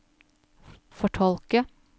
fortolke